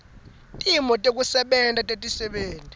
timo tekusebenta tetisebenti